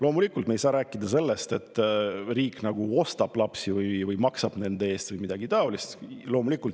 Loomulikult, me ei saa rääkida sellest, et riik ostab lapsi või maksab nende eest või midagi sellist.